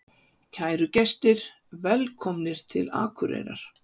Kæru gestir! Velkomnir til Akureyrar.